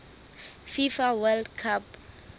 fifa world cup